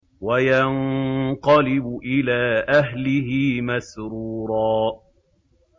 وَيَنقَلِبُ إِلَىٰ أَهْلِهِ مَسْرُورًا